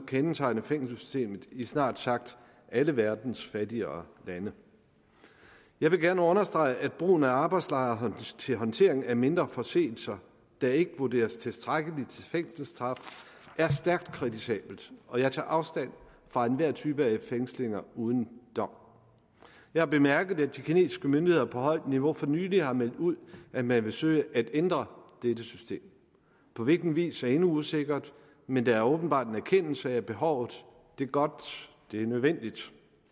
kendetegner fængselssystemet i snart sagt alle verdens fattigere lande jeg vil gerne understrege at brugen af arbejdslejre til håndteringen af mindre forseelser der ikke vurderes tilstrækkeligt til fængselsstraf er stærkt kritisabel og jeg tager afstand fra enhver type fængslinger uden dom jeg har bemærket at de kinesiske myndigheder på højt niveau for nylig har meldt ud at man vil søge at ændre dette system på hvilken vis er endnu usikkert men der er åbenbart en erkendelse af behovet det er godt det er nødvendigt